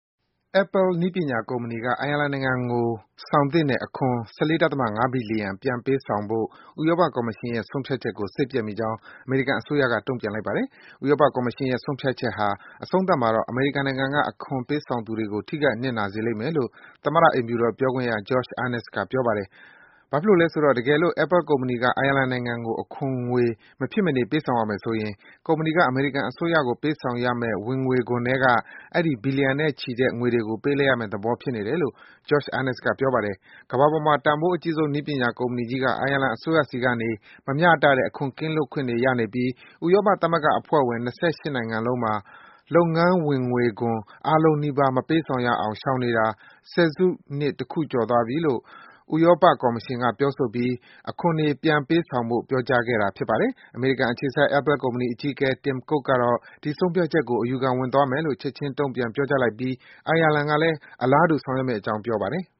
Apple နည်းပညာကုမ္ပဏီက အိုင်ယာလန်နိုင်ငံကို ပေးဆောင်သင့်တဲ့ အခွန် ၁၄.၅ ဘီလီယံ ပြန်ပေးဆောင်ဖို့ ဥရောပကော်မရှင်ရဲ့ ဆုံးဖြတ်ချက်ကို စိတ်ပျက်ကြောင်း အမေရိကန်အစိုးရက တုံ့ပြန်လိုက်ပါတယ်။ ဥရောပကော်မရှင်ရဲ့ ဆုံးဖြတ်ချက်ဟာ အဆုံးသတ်မှာတော့ အမေရိကန်နိုင်ငံက အခွန်ပေးဆောင်သူတွေကို ထိခိုက်နစ်နာစေလိမ့်မယ်လို့ သမ္မတ အိမ်ဖြူတော်ပြောခွင့်ရ Josh Earnest က ပြောပါတယ်။ ဘာဖြစ်လို့လဲဆိုတော့ တကယ်လို့ Apple ကုမ္ပဏီက အိုင်ယာလန်နိုင်ငံကို အခွန်ငွေ မဖြစ်မနေ ပေးဆောင်ရမယ်ဆိုရင် ကုမ္ပဏီက အမေရိကန်အစိုးရကို ပေးဆောင်ရမယ့် ဝင်ငွေခွန်ထဲက အဲဒီဘီလီယံနဲ့ချီတဲ့ ငွေတွေကို ပေးလိုက်ရမယ့် သဘောဖြစ်နေတယ်လို့ Josh Earnest က ပြောပါတယ်။ ကမ္ဘာပေါ်မှာ တန်ဖိုးအကြီးဆုံး နည်းပညာကုမ္ပဏီကြီးက အိုင်ယာလန်အစိုးရဆီကနေ မမျှတတဲ့ အခွန်ကင်းလွတ်ခွင့်တွေ ရနေပြီး ဥရောပသမဂ္ဂအဖွဲ့ဝင် ၂၈ နိုင်ငံလုံးမှာ လုပ်ငန်းအမြတ်ခွန် အားလုံးနီးပါး မပေးဆောင်ရအောင် ရှောင်နေတာ ၁၀ စုနှစ် တခုကျော်ပြီလို့ ဥရောပကော်မရှင်က ပြောဆိုပြီး အခွန်ငွေတွေ ပြန်လည်ပေးဆောင်ဖို့ ပြောကြားခဲ့တာပါ။ အမေရိကန်အခြေစိုက် Apple ကုမ္ပဏီအကြီးအကဲ Tim Cook ကတော့ ဒီဆုံးဖြတ်ချက်ကို အယူခံပြန်ဝင်သွားမယ်လို့ ချက်ခြင်း တုံ့ပြန်ပြောကြားလိုက်ပြီး အိုင်ယာလန်ကလည်း အလားတူ ဆောင်ရွက်မယ့်အကြောင်း ပြောပါတယ်။